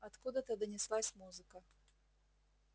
откуда-то донеслась музыка